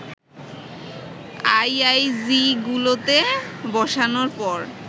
আইআইজিগুলোতে বসানোর পর